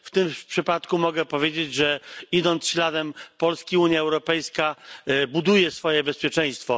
W tym przypadku mogę powiedzieć, że idąc śladem Polski Unia Europejska buduje swoje bezpieczeństwo.